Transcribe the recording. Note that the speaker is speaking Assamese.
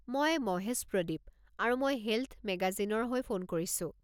মই মহেশ প্ৰদীপ, আৰু মই হেল্থ মেগাজিনৰ হৈ ফোন কৰিছো।